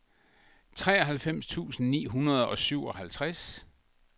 treoghalvfems tusind ni hundrede og syvoghalvtreds